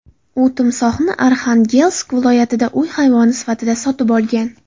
U timsohni Arxangelsk viloyatida uy hayvoni sifatida sotib olgan.